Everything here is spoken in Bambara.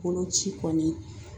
Boloci kɔni